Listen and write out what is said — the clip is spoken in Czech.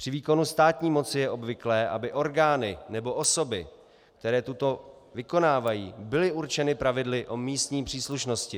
Při výkonu státní moci je obvyklé, aby orgány nebo osoby, které toto vykonávají, byly určeny pravidly o místní příslušnosti.